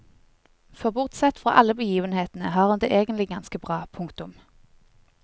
For bortsett fra alle begivenhetene har hun det egenlig ganske bra. punktum